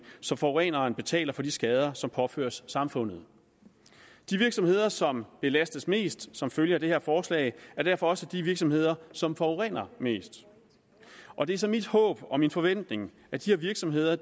så forureneren betaler for de skader som påføres samfundet de virksomheder som belastes mest som følge af det her forslag er derfor også de virksomheder som forurener mest og det er så mit håb og min forventning at de virksomheder